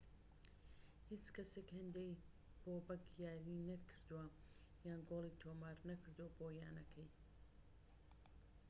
هیچ کەسێك هێندەی بۆبەك یاری نەکردووە یان گۆڵی تۆمار نەکردووە بۆ یانەکە